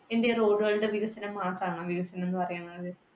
നിന്‍ടെ ഈ road കളുടെ വികസനം മാത്രമാണോ വികസനം എന്ന് പറയുന്നത്?